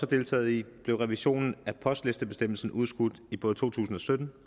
deltaget i blev revisionen af postlistebestemmelsen udskudt i både to tusind og sytten